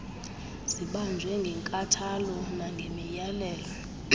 zibanjwe ngenkathalo nangemiyalelo